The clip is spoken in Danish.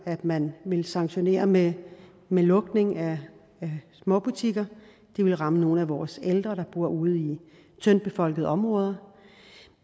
at man vil sanktionere med med lukning af småbutikker det ville ramme nogle af vores ældre der bor ude i tyndt befolkede områder